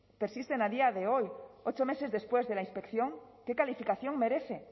persisten a día de hoy ocho meses después de la inspección qué calificación merece